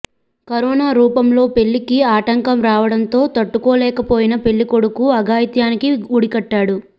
corona రూపంలో పెళ్లికి ఆటంకం రావడంతో తట్టుకోలేకపోయిన పెళ్లికొడుకు అఘాయిత్యానికి ఒడిగట్టాడు